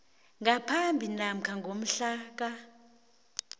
ngaphambi namkha ngomhlaka